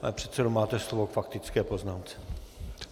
Pane předsedo, máte slovo k faktické poznámce.